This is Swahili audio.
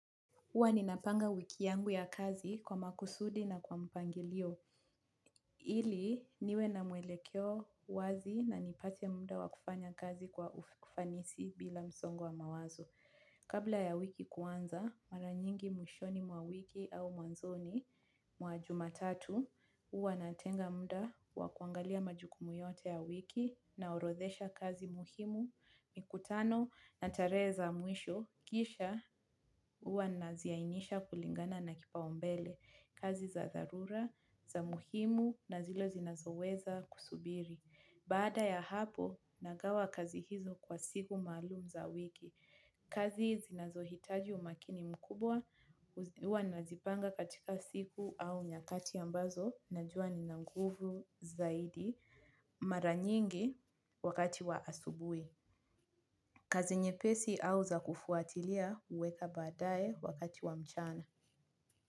Huwa ninapanga wiki yangu ya kazi kwa makusudi na kwa mpangilio, ili niwe na mwelekeo wazi na nipate muda wa kufanya kazi kwa ufanisi bila msongo wa mawazo. Kabla ya wiki kuanza, maranyingi mwishoni mwa wiki au mwanzoni mwa jumatatu, huwa natenga muda wa kuangalia majukumu yote ya wiki naorodhesha kazi muhimu. Mikutano na tarehe za mwisho, kisha huwa ninaziainisha kulingana na kipaombele kazi za dharura, za muhimu na zile zinazoweza kusubiri. Baada ya hapo, nagawa kazi hizo kwa siku maalum za wiki. Kazi zinazohitaji umakini mkubwa, huwa nazipanga katika siku au nyakati ambazo, najua nina nguvu zaidi. Maranyingi wakati wa asubuhi. Kazi nyepesi au za kufuatilia huweka baadaye wakati wa mchana.